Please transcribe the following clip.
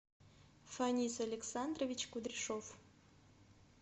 фанис александрович кудряшов